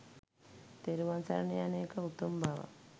තෙරුවන් සරණ යන එක උතුම් බව